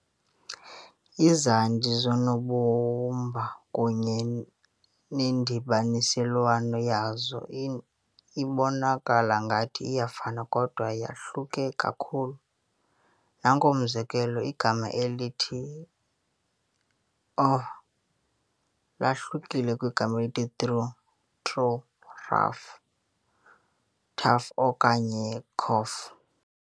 Izandi zoonobumba kunye nendibaniselwano yazo ibonakala ngathi iyafana kodwa yahluke kakhulu. Nanku umzekelo igama elithi "ough" lahlukile kwelithi "through", threw, "rough", tough okanye "cough".